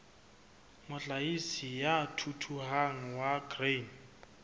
mohlahisi ya thuthuhang wa grain